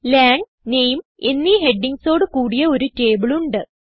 Lang നാമെ എന്നീ headingsഓട് കൂടിയ ഒരു ടേബിൾ ഉണ്ട്